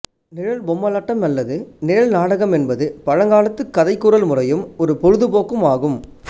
நிழற் பொம்மலாட்டம் அல்லது நிழல் நாடகம் என்பது பழங்காலத்துக் கதைகூறல் முறையும் ஒரு பொழுதுபோக்கும் ஆகும்